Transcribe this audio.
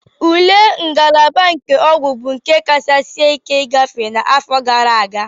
Ule ngalaba nke ọgwụ bụ nke kacha sie ike ịgafe n'afọ gara aga